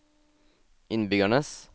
innbyggernes